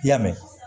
I y'a mɛn